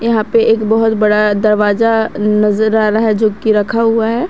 यहां पे एक बहोत बड़ा दरवाजा नजर आ रहा जो कि रखा हुआ है।